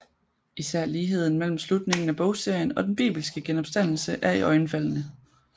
Især ligheden mellem slutningen af bogserien og den bibelske genopstandelse er iøjenfaldende